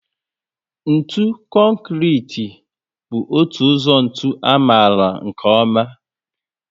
Ntụ Konkrete bú otu ụzọ ntụ amalu nkè oma